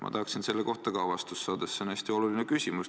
Ma tahaksin ka selle kohta vastust saada, sest see on hästi oluline küsimus.